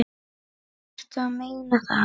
Ertu að meina það?